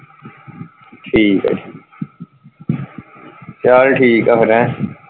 ਠੀਕ ਆ ਠੀਕ ਚਲ ਠੀਕ ਆ ਫਿਰ ਹੈਂ।